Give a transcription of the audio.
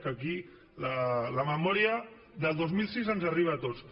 que aquí la memòria del dos mil seis ens arriba a tots